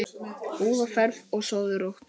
Góða ferð og sofðu rótt.